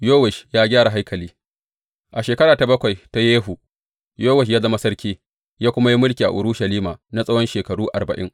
Yowash ya gyara haikali A shekara ta bakwai ta Yehu, Yowash ya zama sarki, ya kuma yi mulki a Urushalima na tsawon shekaru arba’in.